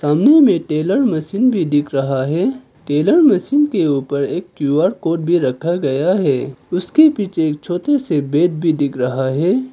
सामने में tailor machine भी दिख रहा है टेलर मशीन के ऊपर एक क्यू_आर कोड भी रखा गया है उसके पीछे छोटे से बेड भी दिख रहा है।